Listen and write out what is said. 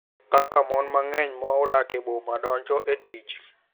Kaka mon mang’eny ma odak e boma donjo e tich.